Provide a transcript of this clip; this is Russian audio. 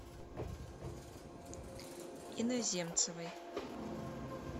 иноземцевой